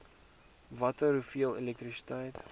watter hoeveel elektrisiteit